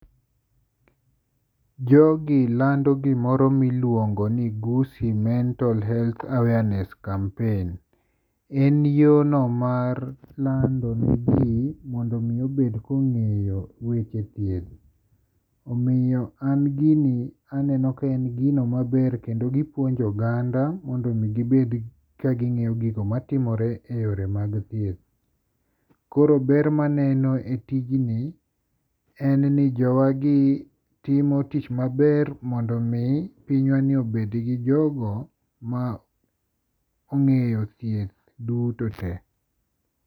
Jogi lando gimoro miluongo ni 'Gusii mental health awareness Campaign'. En yono mar lando gigi mondo omi obed kong'eyo weche thieth. Omiyo an gini, aneno kaneno ka en gino maber kendo gipuonjo oganda mondo omi gibed ka ging'eyo gigo matimore e yore mag thieth. Koro ber maneno e tijni en ni jowagi timo tich maber mondo omi pinywani obedgi jogo ma ong'eyo thieth duto te.